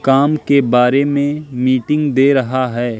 काम के बारे में मीटिंग दे रहा है।